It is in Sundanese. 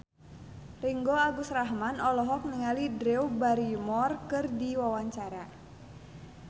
Ringgo Agus Rahman olohok ningali Drew Barrymore keur diwawancara